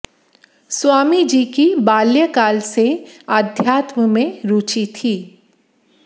स्वामी जी की बाल्यकाल से आध्यात्म में रुचि थी